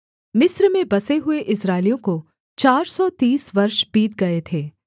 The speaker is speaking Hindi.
मिस्र में बसे हुए इस्राएलियों को चार सौ तीस वर्ष बीत गए थे